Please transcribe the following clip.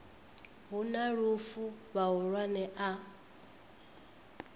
hu na lufu vhahulwane a